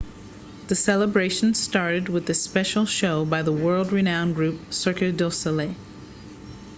the celebrations started with a special show by the world-renowned group cirque du soleil